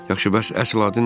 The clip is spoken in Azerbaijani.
Yaxşı, bəs əsl adın nədir?